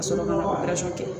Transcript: Ka sɔrɔ ma ka kɛ